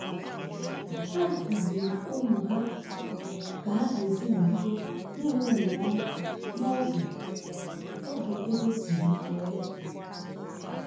ha kụziiri ụmụ ha ka ha um ga-esi nọgide na-enwe olileanya n'oge oge ego siri um ike. um